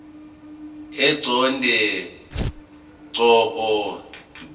eqonde ngqo ngendlela